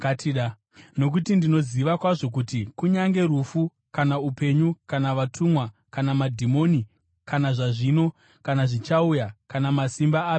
Nokuti ndinoziva kwazvo kuti kunyange rufu, kana upenyu, kana vatumwa, kana madhimoni, kana zvazvino, kana zvichauya, kana masimba api zvawo,